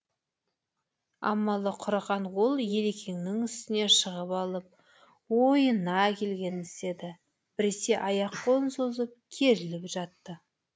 амалы құрыған ол ерекеңнің үстіне шығып алып ойына келгенін істеді біресе аяқ қолын созып керіліп жатты